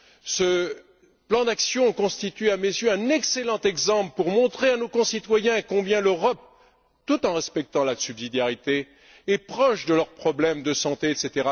Ce plan d'action constitue à mes yeux un excellent exemple pour montrer à nos concitoyens combien l'Europe, tout en respectant la subsidiarité, est proche de leurs problèmes de santé, etc.